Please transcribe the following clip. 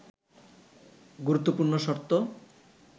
গুরুত্বপূর্ণ শর্ত